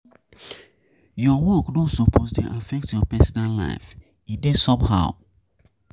Your work no suppose dey affect your personal life, e dey somehow